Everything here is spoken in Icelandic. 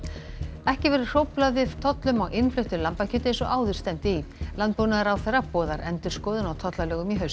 ekki verður hróflað við tollum á innfluttu lambakjöti eins og áður stefndi í landbúnaðarráðherra boðar endurskoðun á tollalögum í haust